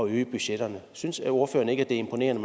øge budgetterne synes ordføreren ikke det er imponerende